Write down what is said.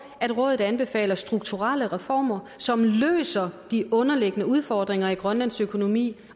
at rådet anbefaler strukturelle reformer som løser de underliggende udfordringer i grønlands økonomi